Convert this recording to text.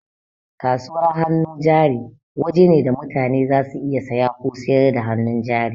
Kasuwar hannu jari waje ne da mutane za su iya saya ko sayar da hannun jari